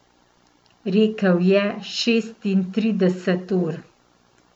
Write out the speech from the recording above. Rekel je šestintrideset ur.